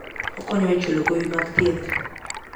Okonyo e chulo gowi mag thieth.